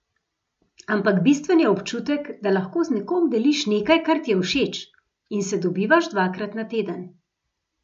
Ampak bistven je občutek, da lahko z nekom deliš nekaj, kar ti je všeč, in se dobivaš dvakrat na teden.